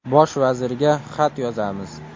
Bosh vazirga xat yozamiz.